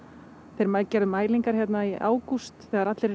þeir gerðu mælingar hér í ágúst þegar allir